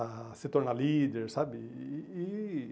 A se tornar líder, sabe? E e e